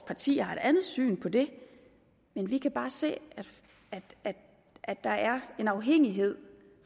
parti har et andet syn på det men vi kan bare se at der er en afhængighed